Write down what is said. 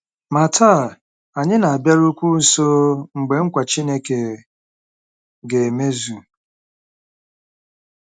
Ma taa, anyị na-abịarukwu nso mgbe nkwa Chineke ga-emezu.